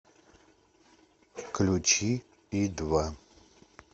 включи и два